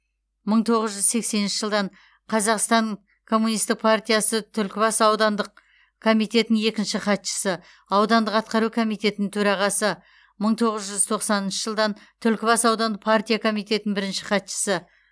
мың тоғыз жүз сексенінші жылдан қазақстан коммунистік партиясы түлкібас аудандық комитетінің екінші хатшысы аудандық атқару комитетінің төрағасы мың тоғыз жүз тоқсаныншы жылдан түлкібас аудандық партия комитетінің бірінші хатшысы